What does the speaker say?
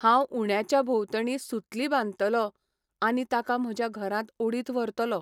हांव उंड्याच्या भोंवतणी सुतली बांदतलों आनी ताका म्हज्या घरांत ओडीत व्हरतलों.